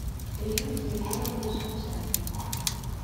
ирина кирилловна шевченко